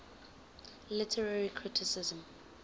literary criticism